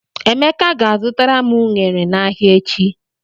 Emeka ga-azụtara m ụnere n'ahịa echi.